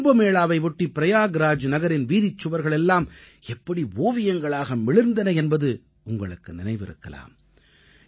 கும்பமேளாவை ஒட்டி ப்ரயாக் ராஜ் நகரின் வீதிச்சுவர்கள் எல்லாம் எப்படி ஓவியங்களாக மிளிர்ந்தன என்பது உங்களுக்கு நினைவிருக்கலாம்